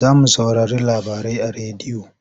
Za mu saurari labarai a rediyo.